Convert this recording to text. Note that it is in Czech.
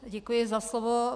Děkuji za slovo.